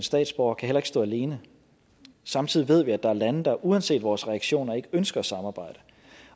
statsborgere kan heller ikke stå alene samtidig ved vi at der er lande der uanset vores reaktioner ikke ønsker at samarbejde